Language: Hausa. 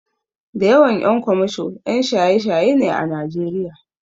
Da yawan ƴan kwamasho ƴan shaye-shaye ne a Najeriya.